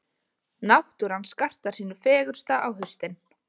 Náttúran skartar sínu fegursta á haustin.